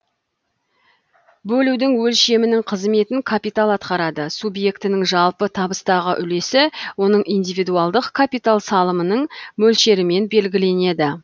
бөлудің өлшемінің қызметін капитал атқарады субъектінің жалпы табыстағы үлесі оның индивидуалдық капитал салымының мөлшерімен белгіленеді